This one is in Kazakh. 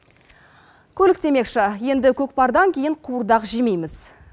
көлік демекші енді көкпардан кейін қуырдақ жемейміз